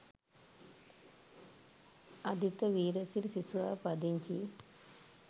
අදිත වීරසිරි සිසුවා පදිංචි